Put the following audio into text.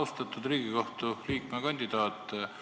Austatud Riigikohtu liikme kandidaat!